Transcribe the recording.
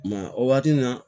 I ma ye o waati nin na